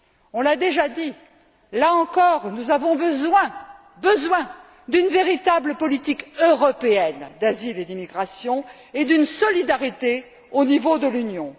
On l'a déjà dit, là encore, nous avons impérativement besoin d'une véritable politique européenne d'asile et d'immigration et d'une solidarité au niveau de l'Union.